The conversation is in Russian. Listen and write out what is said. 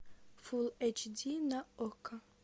фулл эйч ди на окко